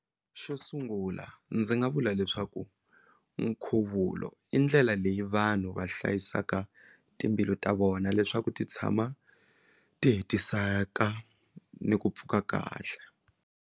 Xo sungula ndzi nga vula leswaku nkhuvulo i ndlela leyi vanhu va hlayisaka timbilu ta vona leswaku ti tshama ti hetiseka ni ku pfuka kahle.